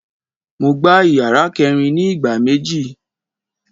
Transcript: Mo gbá ìyàrá kẹẹ̀rin ni ìgbà méjì